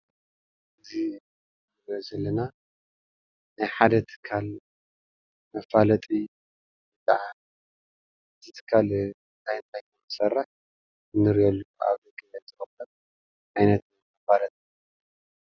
እዚ እንርእዬ ዘለና ናይ ሓደ ትካል መፋለጢ ወይከዓ እቲ ትካል ታይ ታይ ከም ዝሰርሕ እንርእየሉ ዓይነት መፋለጢ እዩ ።